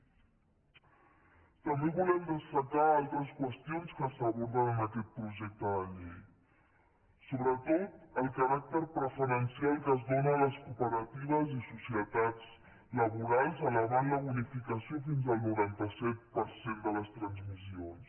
també volem destacar altres qüestions que s’aborden en aquest projecte de llei sobretot el caràcter preferencial que es dóna a les cooperatives i societats laborals elevant la bonificació fins al noranta set per cent de les transmissions